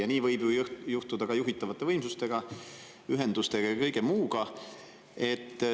Ja nii võib ju juhtuda ka juhitavate võimsustega, ühendustega ja kõige muuga.